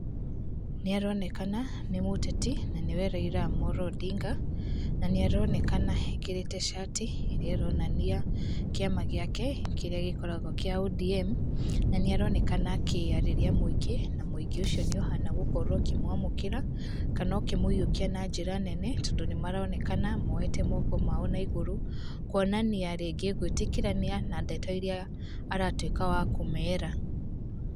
Nĩ aronekana nĩ mũteti na nĩwe Raila Amollo Odinga na nĩaronekana ekĩrĩte shati ĩrĩa ĩronania kiama gĩake kĩrĩa gĩkoragwo kĩa ODM. Na nĩaronekana akĩarĩria mũingĩ na mũingĩ ũcio nĩũhana gũkorwo ũkĩmwamũkĩra kana ũkĩmũiyũkia na njĩra nene. Tondũ nĩmaronekana moyete moko mao na igũrũ kuonia rĩngĩ gwĩtĩkĩrania na ndeto iria aratuĩka wa kũmera.